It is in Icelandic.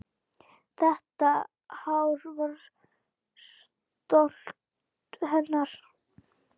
Þetta hár var stolt hennar.